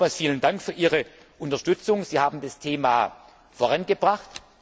Nochmals vielen Dank für Ihre Unterstützung. Sie haben das Thema vorangebracht.